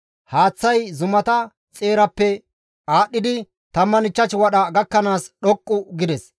Haaththay zumata xeerappe aadhdhidi 15 wadha gakkanaas dhoqqu gides.